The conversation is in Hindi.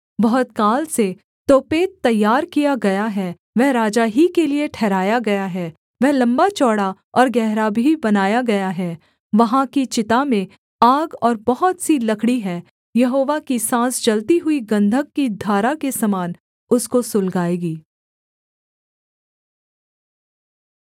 बहुत काल से तोपेत तैयार किया गया है वह राजा ही के लिये ठहराया गया है वह लम्बाचौड़ा और गहरा भी बनाया गया है वहाँ की चिता में आग और बहुत सी लकड़ी हैं यहोवा की साँस जलती हुई गन्धक की धारा के समान उसको सुलगाएगी